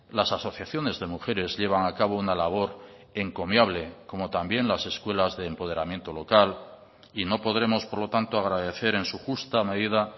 las asociaciones de mujeres llevan a cabo una labor encomiable como también las escuelas de empoderamiento local y no podremos por lo tanto agradecer en su justa medida